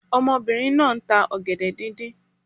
Omobìnrin náà nta ògèdè díndín